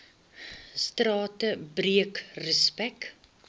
strate breek respek